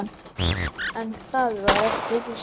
En það var ekki víst.